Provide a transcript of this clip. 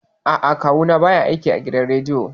A'a, Kawu na ba ya aiki a gidan rediyo